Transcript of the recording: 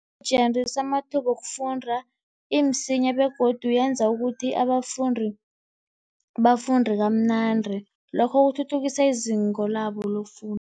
amathuba wokufunda, imsinya begodu yenza ukuthi abafundi bafunde kamnandi. Lokho kuthuthukisa izinga labo lokufunda